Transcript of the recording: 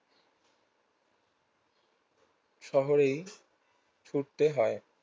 শহরেই ছুটতে হয়